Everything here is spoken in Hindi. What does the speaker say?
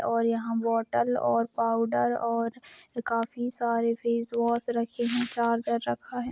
और यहा बोटल और पाउडर और ये काफी सारे फेस वॉश रखे है चार्जर रखा है।